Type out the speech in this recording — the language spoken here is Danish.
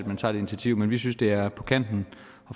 man tager det initiativ men vi synes at det er på kanten